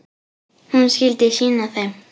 Hún skyldi sýna þeim.